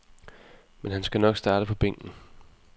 Men han skal nok starte på bænken.